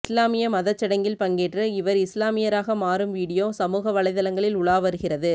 இஸ்லாமிய மதச்சடங்கில் பங்கேற்று இவர் இஸ்லாமியராக மாறும் வீடியோ சமூக வலைதளங்களில் உலா வருகிறது